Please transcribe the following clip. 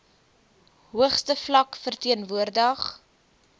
hoogste vlak verteenwoordig